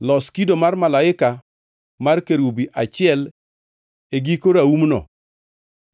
Los kido mar malaika mar kerubi achiel e giko raumno